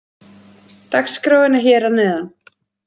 Dagskráin er hér að neðan.